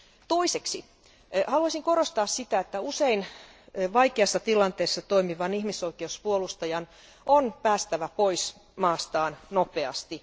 Toiseksi haluaisin korostaa sitä, että usein vaikeassa tilanteessa toimivan ihmisoikeuspuolustajan on päästävä pois maastaan nopeasti.